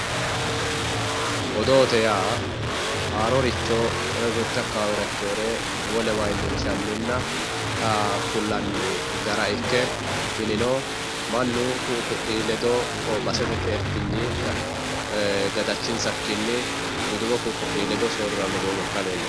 Odoote yaa haaroricho woyi mitte akkawaawera ikkeyore wolewa iillinshanninna kullanni gara ikke tinino mannu ka'u ka'uyi ledo basete xeertinyi gadachinsakkinni hedo ku'u ku'uyi ledo soorriranno doogo ikka leellishshanno